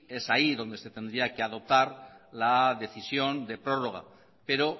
es ahí donde se tendría que adoptar la decisión de prórroga pero